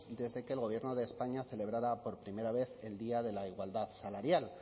desde que el gobierno de españa celebrara por primera vez el día de la igualdad salarial